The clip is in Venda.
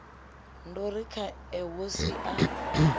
ndo ri khae wo sia